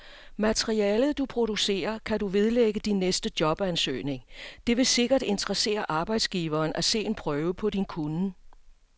Materialet, du producerer, kan du vedlægge din næste jobansøgning, det vil sikkert interessere arbejdsgiveren at se en prøve på din kunnen.